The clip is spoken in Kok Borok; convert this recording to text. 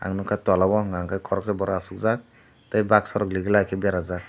ang nugkha tola o unkake koroksa borok asukjaak tei baksa legilai ke berajak.